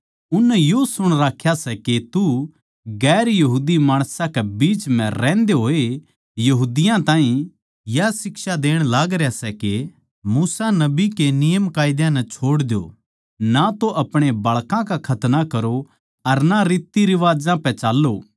उननै यो सुण राख्या सै के तू गैर यहूदी माणसां के बीच म्ह रहन्दे होए यहूदियाँ ताहीं या शिक्षा देण लागरया सै के मूसा नबी के नियमकायदा नै छोड़ द्यो ना तो अपणे बाळकां का खतना करो अर ना रितरिवाज्जां पै चाल्लों